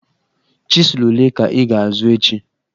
Chizụl ole ka ị ga-azụ echi?